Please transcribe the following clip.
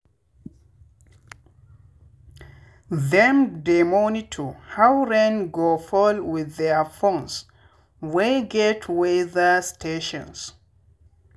them dey monitor how rain go fall with their phones wey get weather stations.